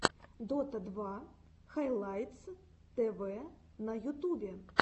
дота два хайлайтс тв на ютубе